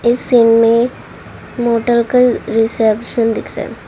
इस सीन में मोटर का रिसेप्शन दिख रहा है ।